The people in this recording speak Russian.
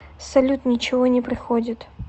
салют ничего не приходит